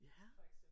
Ja